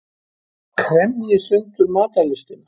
Kremji sundur matarlystina.